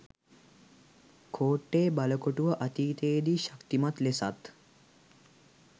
කෝට්ටේ බලකොටුව අතීතයේ දී ශක්තිමත් ලෙසත්